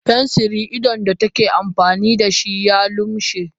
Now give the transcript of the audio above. fensirin idon da take amfani da shi ya lumshe